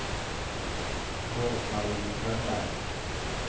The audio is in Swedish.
Rose-Marie Strömberg